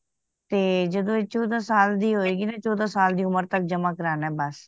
ਤੇ ਜਦੋ ਇਹ ਚੌਦਾਂ ਸਾਲ ਦੀ ਹੋਏਗੀ ਚੌਦਾਂ ਸਾਲ ਦੀ ਉਮਰ ਤੱਕ ਜਮਾ ਕਰਵਾਨਾ ਬੱਸ